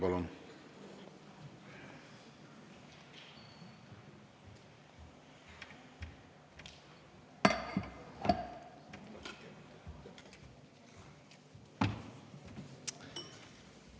Palun!